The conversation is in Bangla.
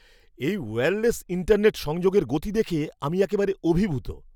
এই ওয়্যারলেস ইন্টারনেট সংযোগের গতি দেখে আমি একেবারে অভিভূত!